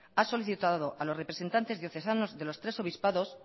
ha solicitado a los representantes diocesanos de los tres obispados